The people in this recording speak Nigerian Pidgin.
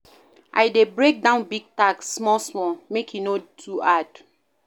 I dey break down big tasks small small, make e no too hard.